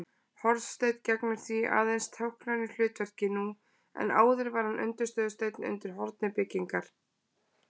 Hornsteinn gegnir því aðeins táknrænu hlutverki nú en áður var hann undirstöðusteinn undir horni byggingar.